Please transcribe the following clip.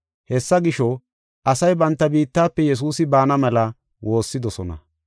Hessa gisho, asay banta biittafe Yesuusi baana mela woossidosona.